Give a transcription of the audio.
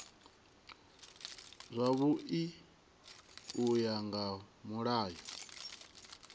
zwavhui u ya nga mulayo